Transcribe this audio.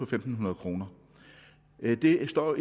fem hundrede kroner det står